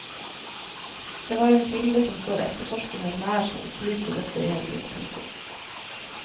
Det var en kilde som står etterforskerne nær som opplyste dette i helgen. punktum